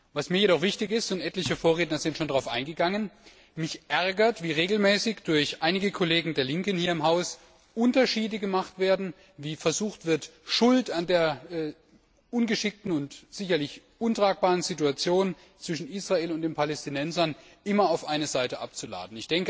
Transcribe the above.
Was mir jedoch wichtig ist und etliche Vorredner sind schon darauf eingegangen Mich ärgert, wie regelmäßig durch einige Kollegen der Linken hier im Haus Unterschiede gemacht werden, wie versucht wird, die Schuld für die ungeschickte und sicherlich untragbare Situation zwischen Israel und den Palästinensern immer auf eine Seite abzuladen.